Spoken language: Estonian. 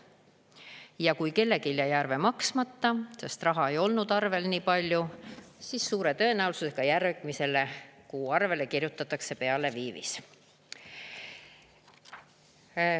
Ja kui kellelgi jäi arve maksmata, sest raha ei olnud arvel niipalju, siis suure tõenäosusega järgmise kuu arvele kirjutatakse peale viivis.